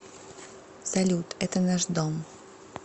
салют это наш дом